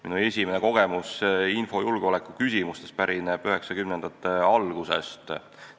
Minu esimene kogemus infojulgeoleku valdkonnast pärineb 90-ndate algusest.